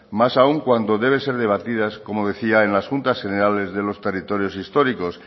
más aún cuando deben ser debatidas como decía en las juntas generales de los territorios históricos